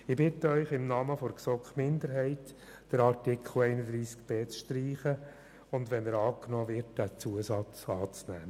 Ich bitte Sie im Namen der GSoK-Minderheit I, den Artikel 31b zu streichen, und falls er angenommen wird, den erwähnten Zusatz anzunehmen.